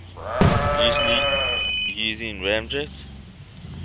usually using ramjet